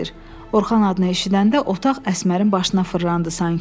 Orxan adını eşidəndə otaq Əsmərin başına fırlandı sanki.